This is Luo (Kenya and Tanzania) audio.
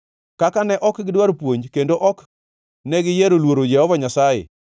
Kaka ne ok gidwar puonj kendo ok negiyiero luoro Jehova Nyasaye,